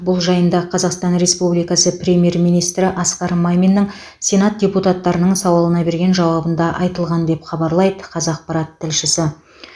бұл жайында қазақстан республикасы премьер министрі асқар маминнің сенат депутаттарының сауалына берген жауабында айтылған деп хабарлайды қазақпарат тілшісі